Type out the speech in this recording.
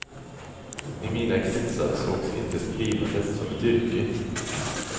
I mina kretsar sågs inte skrivandet som ett yrke.